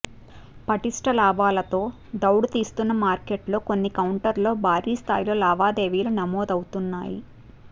పటిష్ట లాభాలతో దౌడు తీస్తున్న మార్కెట్లలో కొన్ని కౌంటర్లలో భారీ స్థాయిలో లావాదేవీలు నమోదవుతున్నాయి